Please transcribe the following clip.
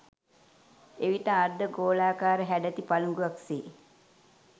එවිට අර්ධ ගෝලාකාර හැඩැති පළිඟුවක් සේ